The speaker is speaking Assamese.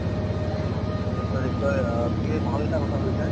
নিশ্চয় নিশ্চয়। তুমি ভাল এটা কথা কৈছা।